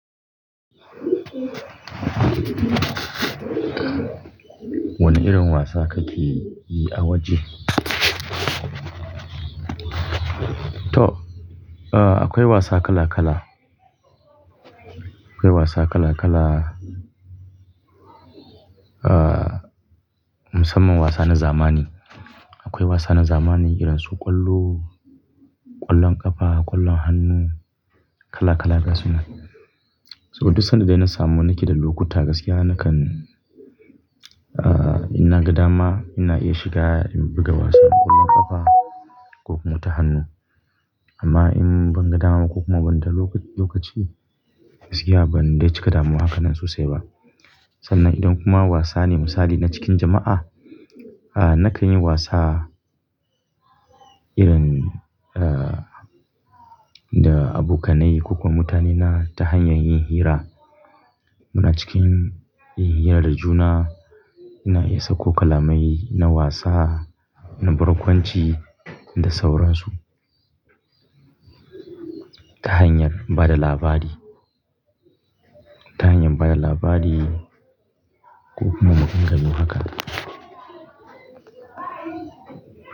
Wane irin wasa kake yi a waje? To, a-akwai wasa kala kala. Akwai wasa kala kala. A-a, musamman wasa na zamani. Akwai wasa na zamani irin su ƙwallo, ƙwallon ƙafa, ƙwallon hannu, kala kala gasu nan. So, duk sanda dai na samu nake da lokuta gaskiya nakan, a-a, ina gadama ina iya shiga in buga wasan ƙwallon ƙafa ko kuma ta hannu. Amma in ban gada ma ko kuma banda lokaci, gaskiya ban dai cika damuwa haka nan sosai ba. Sannan idan kuma wasa ne misali na cikin jama'a, a, nakan yi wasa irin, a, da abokanai ko kuma mutanena ta hanyar yin hira. Muna cikin yin hira da juna, ina iya sako kalamai na wasa, na barkwanci da sauransu. Ta hanyar bada labari, ta hanyar bada labari ko kuma maganganu haka.